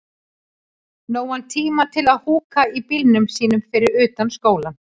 Nógan tíma til að húka í bílnum sínum fyrir utan skólann.